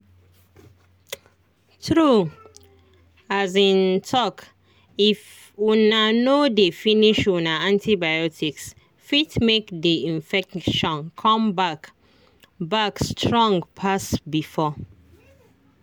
true um talkif una no dey finish una antibioticse fit make the infection come back back strong pass before